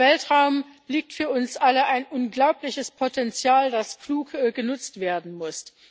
Im Weltraum liegt für uns alle ein unglaubliches Potenzial, das klug genutzt werden muss.